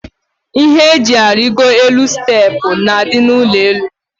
Ihe eji arigo elu steepụ na adị n' ụlọelu.